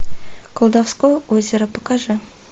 колдовское озеро покажи